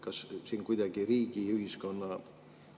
Kas siin kuidagi riigi, ühiskonna …